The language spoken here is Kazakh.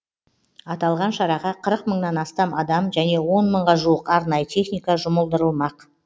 аталған шараға қырық мыңнан астам адам және он мыңға жуық арнайы техника жұмылдырылмақ